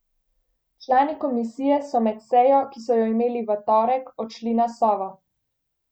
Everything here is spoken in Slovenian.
Člani komisije so med sejo, ki so jo imeli v torek, odšli na Sovo.